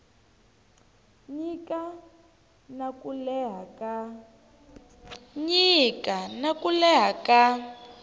nyika na ku leha ka